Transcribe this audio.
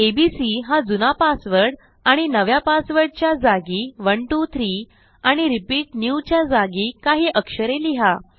ABC हा जुना password आणि नव्या पासवर्डच्या जागी 123 आणि रिपीट newच्या जागी काही अक्षरे लिहा